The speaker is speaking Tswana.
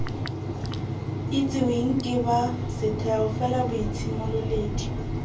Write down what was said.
itsiweng ke ba setheo felaboitshimololedi